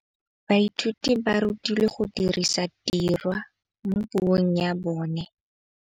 Baithuti ba rutilwe go dirisa tirwa mo puong ya bone.